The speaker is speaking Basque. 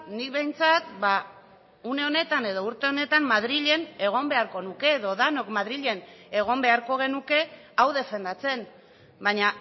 nik behintzat une honetan edo urte honetan madrilen egon beharko nuke edo denok madrilen egon beharko genuke hau defendatzen baina